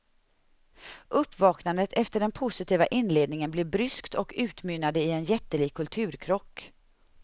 Uppvaknandet efter den positiva inledningen blev bryskt och utmynnade i en jättelik kulturkrock.